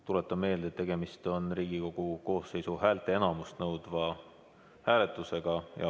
Tuletan meelde, et tegemist on Riigikogu koosseisu häälteenamust nõudva hääletusega.